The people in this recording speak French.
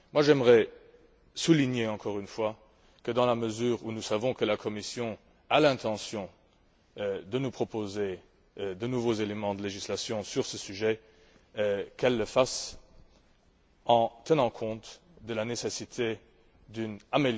J'aimerais insister encore une fois pour que, dans la mesure où nous savons que la Commission a l'intention de nous proposer de nouveaux éléments de législation sur ce sujet, elle le fasse en tenant compte de la nécessité d'améliorer le fonctionnement du marché unique.